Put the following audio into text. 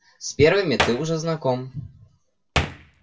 с первыми ты уже знаком